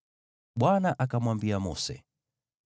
Bwana akamwambia Mose: